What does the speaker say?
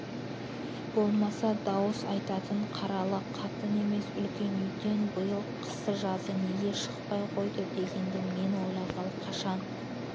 болмаса дауыс айтатын қаралы қатын емес үлкен үйден биыл қысы-жазы неге шықпай қойды дегенді мен ойлағалы қашан